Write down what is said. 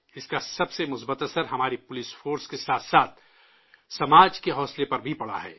اس کا سب سے مثبت اثر ہمارے پولیس دستہ کے ساتھ ساتھ سماج کے ذہن و دل پر بھی پڑ رہا ہے